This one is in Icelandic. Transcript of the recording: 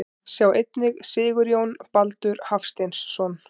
Sjá einnig Sigurjón Baldur Hafsteinsson.